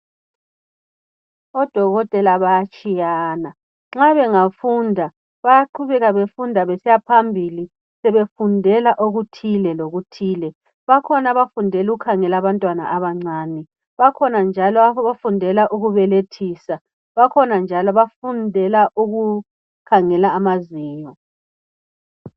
Odokotela baya tshiyana nxa bengafunda bayaqhubeka besiya phambili sebefundela okuthile lokuthile. Bakhona abafundela ukukhangela abantwana abancane, bakhona njalo abafundela ukubelethisa, bakhona njalo abafundela ukukhangela amazinyo.